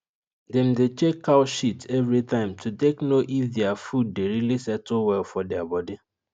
dem dey check cow shit every time to take know if their food dey really settle well for their body